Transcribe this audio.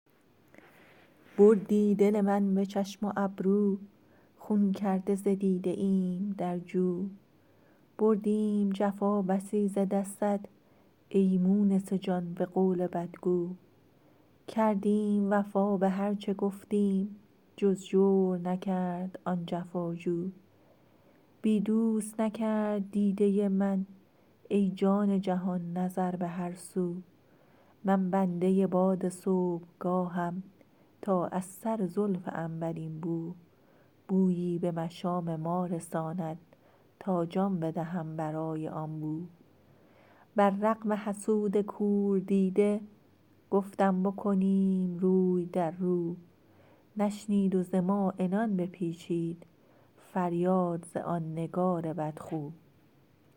بردی دل من به چشم و ابرو خون کرده ز دیده ایم در جو بردیم جفا بسی ز دستت ای مونس جان به قول بدگو کردیم وفا به هرچه گفتیم جز جور نکرد آن جفا جو بی دوست نکرد دیده من ای جان جهان نظر به هر سو من بنده باد صبحگاهم تا از سر زلف عنبرین بو بویی به مشام ما رساند تا جان بدهم برای آن بو بر رغم حسود کور دیده گفتم بکنیم روی در رو نشنید و ز ما عنان بپیچید فریاد ز آن نگار بدخو